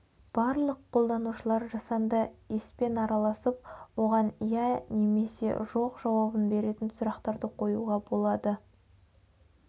барлық қолданушылар жасанды еспен араласып оған иә немесе жоқ жауабын беретін сұрақтарды қоюға болады